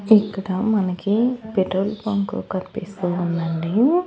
ఇక్కడ మనకి petrol bunk కన్పిస్తూ ఉందండి.